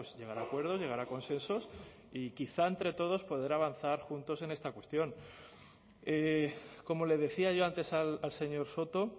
llegar a acuerdos llegar a consensos y quizá entre todos poder avanzar juntos en esta cuestión como le decía yo antes al señor soto